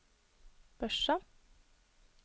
Børsa